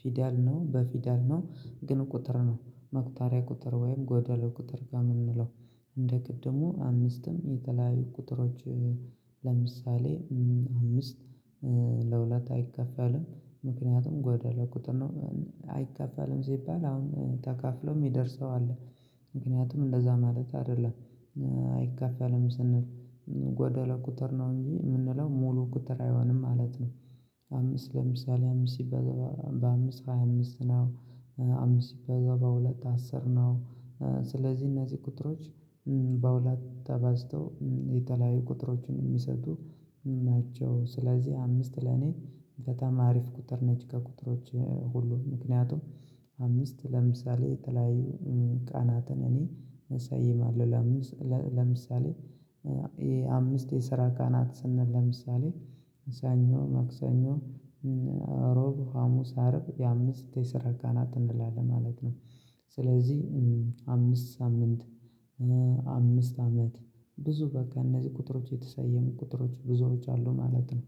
ፊደል ነው በፊደል ነው ግን ቁጥር ነው መቅጣሪያ ቁጥር ወይም ጎደሎ ቁጥር ነው የምንለው። እንደ ቅድሙ አምስትም የተለያዩ ቁጥሮች። ለምሳሌ አምስት ለሁለት አይካፈልም ምክንያቱም ጎደሎ ቁጥር ነው። አይካፋልም ሲባል አሁን ተካፍሎ የሚደርሰው አለ ምክንያቱም እንደዛ ማለት አይደለም። አይካፈልም ስንል ጎደሎ ቁጥር ነው እንጂ የምንለው ሙሉ ቁጥር አይሆንም ማለት ነው። አምስት ለምሳሌ አምስት ሲባዛ በአምስት ሃያ አምስት ነው። አምስት ሲባዛ በሁለት አስር ነው። ስለዚህ እነዚህ ቁጥሮች በሁለት ተባዝተው የተለያዩ ቁጥሮችን የሚሰጡ ናቸው። ስለዚህ አምስት ለኔ በጣም አሪፍ ቁጥር ነች። ከቁጥሮች ሁሉ ምክንያቱም አምስት ለምሳሌ የተለያዩ ቀናትን እኔ እሰይማለሁ። ለምሳሌ አምስት የስራ ቀናት ስንል ለምሳሌ ሳኞ መክሳኞ ሮብ ሀሙስ አርብ የአምስት የሰራ ቀናት እንላለን ማለት ነው። ስለዚህ አምስት ሳምንት አምስት አመት ብዙ በቃ እነዚህ ቁጥሮች የተሰየሙ ቁጥሮች ብዙወችአሉ ማለት ነው።